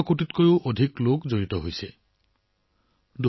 ১১ কোটিৰো অধিক লোকক এই অভিযানৰ সৈতে সংযুক্ত কৰা হৈছে